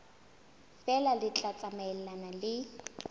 feela le tla tsamaelana le